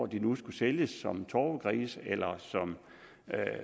de nu skulle sælges som torvegrise eller